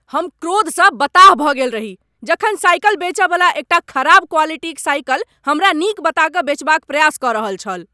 हम क्रोध सँ बताह भ गेल रही जखन साइकिल बेचय वाला एकटा खराब क्वालिटीक साइकिल हमरा नीक बता कऽ बेचबा क प्रयास क रहल छल ।